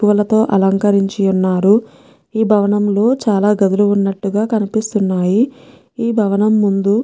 పూలతో అలంకరించి ఉన్నారు ఈ భవనం లో చాలా గదులు ఉన్నట్లుగా కపిస్తున్నాయి ఈ భవనం ముందు --